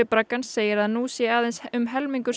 braggans segir að nú sé aðeins um helmingur